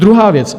Druhá věc.